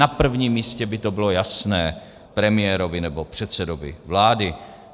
Na prvním místě by to bylo jasné premiérovi nebo předsedovi vlády.